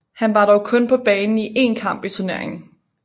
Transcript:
Han var dog kun på banen i én kamp i turneringen